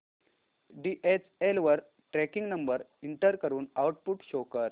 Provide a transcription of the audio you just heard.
DHL वर tracking number enter करून output show कर